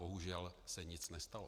Bohužel se nic nestalo.